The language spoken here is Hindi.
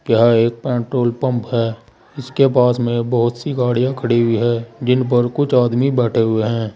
यह एक पेट्रोल पंप है इसके पास में बहुत सी गाड़ियां खड़ी हुई हैं जिन पर कुछ आदमी बैठे हुए हैं।